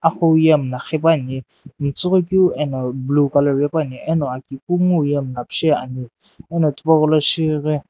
aqhou ye mlla qhi puani metsughoi keu ena blue colour vepu ani eno aki kunguu ye mlla pisheani eno tipau gholo shi ghi.